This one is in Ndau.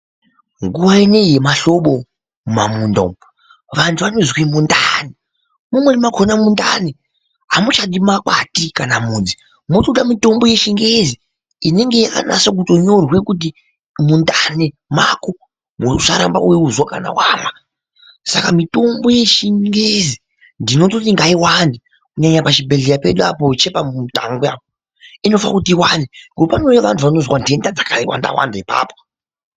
Nguwa ineiyi yemahlobo mumamunda umu vantu vanozwe mundani. Mumweni mwakhona mundani amuchadi makhati kana mudzi. Mwotoda mitobo yechingezi inonge yakanase kutonyorwe kuti mundani mwako uraramba wemuzwa kana wamwa, saka mitombo yechingezi ndinototi ngayiwande kunyanye pachibhedhleya chedu apo chepa Mutangwe apo inofane kuti iwande ngokuti panouya vantu vanozwa nhenda dzakawanda wanda ipapo.